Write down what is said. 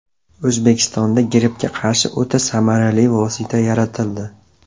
O‘zbekistonda grippga qarshi o‘ta samarali vosita yaratildi.